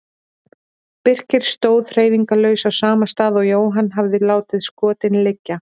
Birkir stóð hreyfingarlaus á sama stað og Jóhann hafði látið skotin liggja.